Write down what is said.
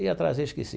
Ia trazer, esqueci.